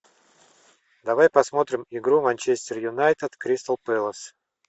давай посмотрим игру манчестер юнайтед кристал пэлас